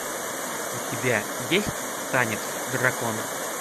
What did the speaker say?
у тебя есть танец дракона